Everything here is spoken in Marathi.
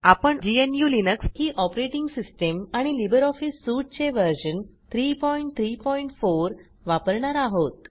आपण ग्नू लिनक्स ही ऑपरेटिंग सिस्टम आणि लिब्रिऑफिस Suiteचे व्हर्शन 334 वापरणार आहोत